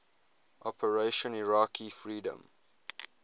operation iraqi freedom